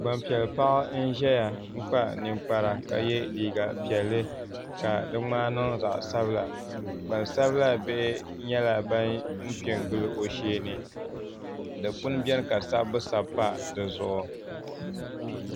Gbanpiɛli paɣa n ʒɛya n kpa ninkpara ka yɛ liiga piɛlli ka di ŋmaai niŋ zaɣ sabila gbansabila bihi nyɛla ban piɛ n gili o shee ni dikpuni biɛni ka sabbu sabi pa dizuɣu